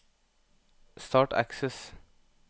Start Access